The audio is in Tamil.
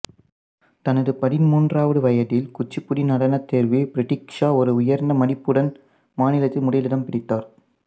தனது பதின்மூன்றாவது வயதில் குச்சிபுடி நடனத் தேர்வில் பிரதீக்சா ஒரு உயர்ந்த மதிப்புடன் மாநிலத்தில் முதலிடம் பிடித்தார்